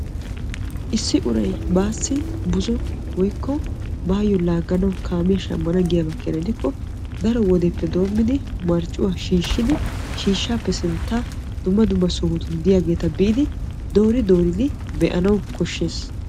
issi uray baassi buzzo woykko baayyo laagganaw kaamiyaa shammana giyaaba keena gidikko daro wodiyaappe doommidi marccuwaa shiishshiidi shiishshappe sinttan dumma dumma sohotun diyaageeta biidi doori dooridi be''anaw koshshees.